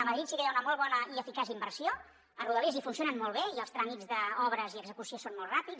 a madrid sí que hi ha una molt bona i eficaç inversió a rodalies i funcionen molt bé i els tràmits d’obres i execució són molt ràpids